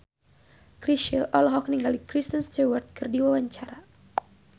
Chrisye olohok ningali Kristen Stewart keur diwawancara